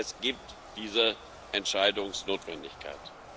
Es gibt diese Entscheidungsnotwendigkeit.